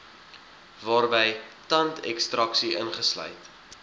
waarby tandekstraksie ingesluit